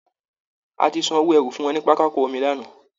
A ti san owó ẹrù fún wọn ní pápákọ omi lánàá